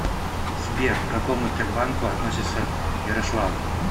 сбер к какому тербанку относится ярославль